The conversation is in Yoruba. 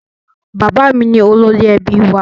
Bàbá mi ni olórí ẹbí wa.